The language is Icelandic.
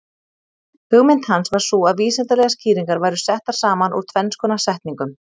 Hugmynd hans var sú að vísindalegar skýringar væru settar saman úr tvenns konar setningum.